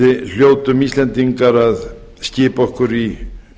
við hljótum íslendingar að skipa okkur í